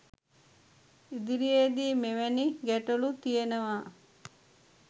ඉදිරියේදී මෙවැනි ගැටලු තියනවා